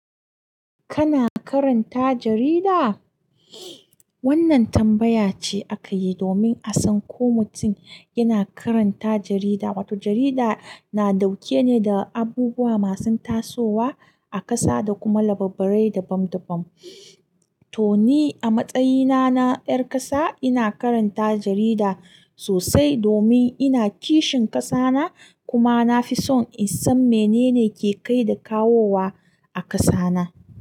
Kana karanta jarida? Wannan tambaya ce aka yi domin a gano ko mutum yana karanta jarida. Wato jarida ta ƙunshi ne da abubuwa ta ƙunshi a ƙasa da kuma labarai dabam dabam. To ni a matsayita ta 'yar ƙasa ina karanta jarida sosai domin ina kishin ƙasa ta. Kuma na fi son in san me ke kai da kawowa a ƙasata.